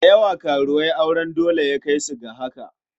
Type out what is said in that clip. Da yawa karuwai auren dole ya kai su ga haka.